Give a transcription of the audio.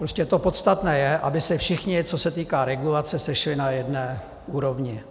Prostě to podstatné je, aby se všichni, co se týká regulace, sešli na jedné úrovni.